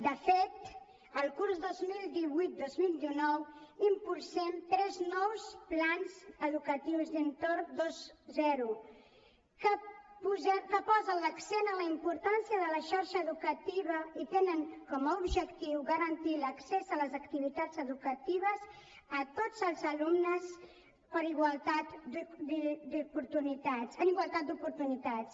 de fet el curs dos mil divuit dos mil dinou impulsem tres nous plans educatius d’entorn vint que posen l’accent en la importància de la xarxa educativa i tenen com a objectiu garantir l’accés a les activitats educatives a tots els alumnes en igualtat d’oportunitats